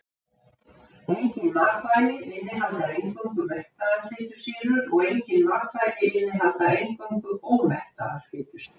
Engin matvæli innihalda eingöngu mettaðar fitusýrur og engin matvæli innihalda eingöngu ómettaðar fitusýrur.